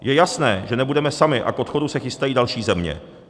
Je jasné, že nebudeme sami, a k odchodu se chystají další země.